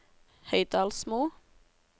Høydalsmo